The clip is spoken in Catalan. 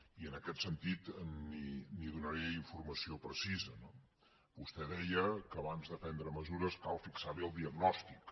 i en aquest sentit li’n donaré informació precisa no vostè deia que abans de prendre mesures cal fixar bé el diagnòstic